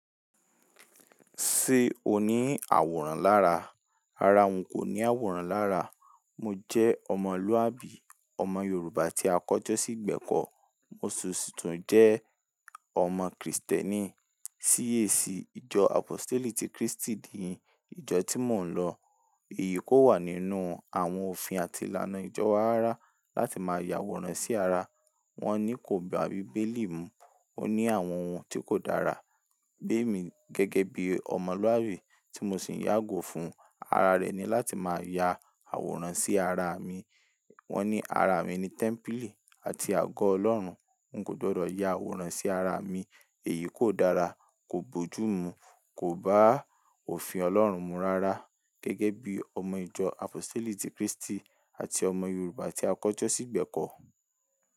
Ṣé o ní àwòrán lára? Ara wọn kò ní àwòrán lára. Mo jẹ́ ọmọlúàbí, ọmọ Yorùbá tí a kọ́ to sí ìgbẹ̀kọ́, mo sì tún jẹ́ ọmọ Krìstẹ́nì. TAC, ìjọ Aposteli ti Kristi ni ìjọ tí mò ń lọ. Èyí kò wà nínú àwọn òfin àti ìlànà ìjọ wa rárá láti máa ya àwòrán sí ara. Wọn ní kò bá Bíbélì mú. Ó ní àwọn ohun tí kò dára. Gbé mi gẹ́gẹ́ bí ọmọlúàbí tí mo sì yágò fún, ara rẹ̀ ni láti máa ya àwòrán sí ara mi. Wọn ní ara mi ni tẹ́ḿpílì àti àgọ́ Ọlọ́run. N kò gbọdọ̀ ya àwòrán sí ara mi, èyí kò dára, kò bójú mú, kò bá òfin Ọlọ́run mu rárá. Gẹ́gẹ́ bí ọmọ ìjọ Apostle ti Kristi àti ọmọ Yorùbá tí a kọ́jọ́ sí ìgbẹ̀kọ́.